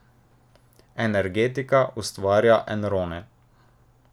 Energetika ustvarja enrone.